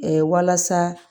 walasa